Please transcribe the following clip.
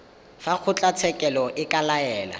fa kgotlatshekelo e ka laela